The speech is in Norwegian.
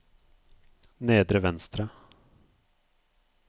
nedre venstre